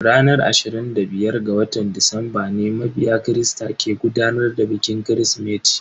Ranar ashirin da biyar ga watan Disamba ne mabiya christa ke gudanar da bikin kirismeti.